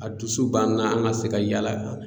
A dusu b'an na an ga se ka yaala